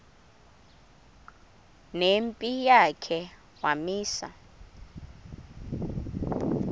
nempi yakhe wamisa